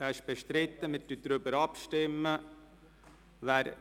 – Dieser ist bestritten, wir stimmen darüber ab.